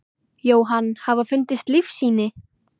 Jóhann: Hafa fundist lífssýni?